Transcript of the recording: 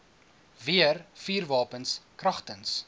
weer vuurwapens kragtens